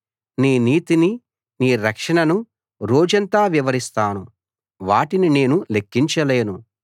నీ నీతిని నీ రక్షణను రోజంతా వివరిస్తాను వాటిని నేను లెక్కించలేను